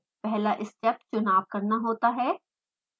पहला स्टेप चुनाव करना होता है